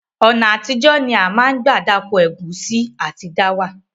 Ọ̀nà àtijọ́ ni a ma n gbà dáko ẹ̀gúnsí àtí dáwà